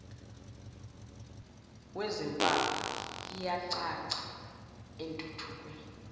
wezimpawu iyacaca entuthukweni